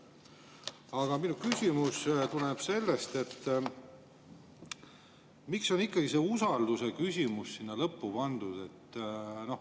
Aga minu küsimus tuleneb sellest, miks on ikkagi see usaldusküsimus sinna lõppu pandud.